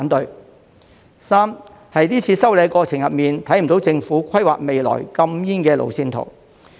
第三，在這次修例的過程中，看不到政府規劃未來禁煙的路線圖。